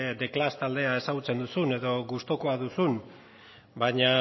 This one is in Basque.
the clash taldea ezagutzen duzun edo gustukoa duzun baina